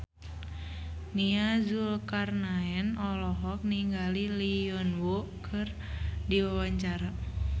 Nia Zulkarnaen olohok ningali Lee Yo Won keur diwawancara